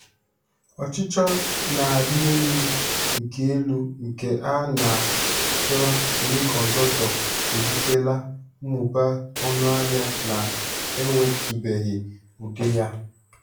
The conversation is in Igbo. Ọchịchọ na-arị elu nke elu nke a na achọ semiconductor ebutela mmụba ọnụahịa na-enwetụbeghị ụdị ya.